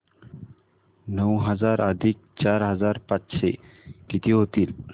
नऊ हजार अधिक चार हजार पाचशे किती होतील